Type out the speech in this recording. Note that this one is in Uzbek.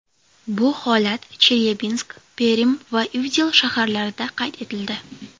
Bu holat Chelyabinsk, Perm va Ivdel shaharlarida qayd etildi.